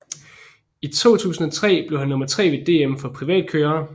I 2003 blev han nummer tre ved DM for privatkørere